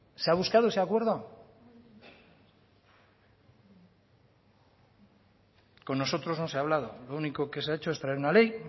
se ha buscado ese acuerdo con nosotros no se ha hablado lo único que se ha hecho es traer una ley